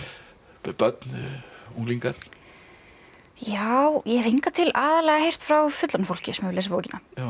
börn unglingar já ég hef hingað til aðallega heyrt frá fullorðnu fólki sem hefur lesið bókina